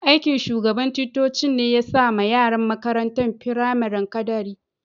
Aiki'n shugaban ticcocin ne ya sa ma yaran makarantan firamarin kadari.